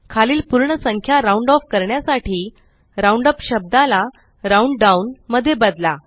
खालील पूर्ण संख्या राउंड ऑफ करण्यासाठी राउंडअप शब्दाला राउंडडाउन मध्ये बदला